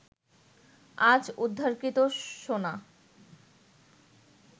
আজ উদ্ধারকৃত সোনা